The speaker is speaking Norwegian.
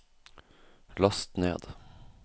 last ned